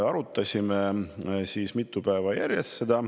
Arutasime mitu päeva järjest.